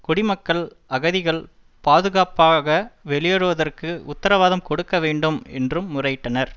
குடிமக்கள்அகதிகள் பாதுகாப்பாக வெளியேறுவதற்கு உத்தரவாதம் கொடுக்க வேண்டும் என்றும் முறையிட்டனர்